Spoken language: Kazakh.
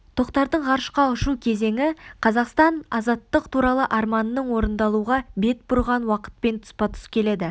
тоқтардың ғарышқа ұшу кезеңі қазақтың азаттық туралы арманының орындалуға бет бұрған уақытпен тұспа-тұс келді